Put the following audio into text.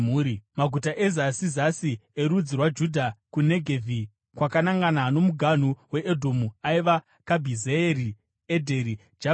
Maguta ezasi zasi erudzi rwaJudha kuNegevhi kwakanangana nomuganhu weEdhomu aiva: Kabhizeeri, Edheri, Jaguri,